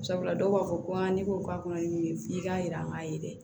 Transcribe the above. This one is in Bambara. Sabula dɔw b'a fɔ ko ne ko k'a kɔnɔ ni mun ye f'i k'a yira k'a ye dɛ